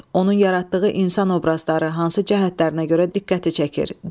Onun yaratdığı insan obrazları hansı cəhətlərinə görə diqqəti çəkir?